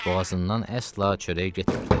Boğazından əsla çörək getmirdi.